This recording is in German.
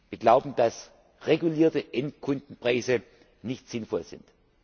Wir glauben, dass regulierte Endkundenpreise nicht sinnvoll